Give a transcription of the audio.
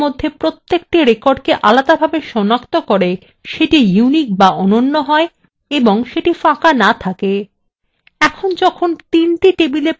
এটি আরো নিশ্চিত করে যে যে ক্ষেত্রটি table মধ্যে প্রত্যেকটি record আলাদাভাবে সনাক্ত করে সেটি unique বা অনন্য হয় এবং সেটি ফাঁকা না থাকে